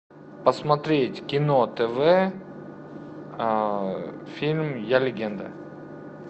посмотреть кино тв фильм я легенда